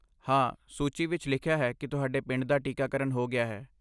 ਹਾਂ, ਸੂਚੀ ਵਿੱਚ ਲਿਖਿਆ ਹੈ ਕਿ ਤੁਹਾਡੇ ਪਿੰਡ ਦਾ ਟੀਕਾਕਰਨ ਹੋ ਗਿਆ ਹੈ।